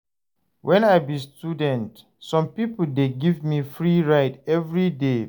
Wen I be student, some pipo dey give me free ride everyday.